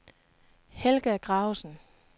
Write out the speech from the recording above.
Helga Gravesen